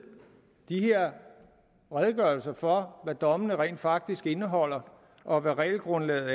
de her redegørelser for hvad dommene rent faktisk indeholder og hvad regelgrundlaget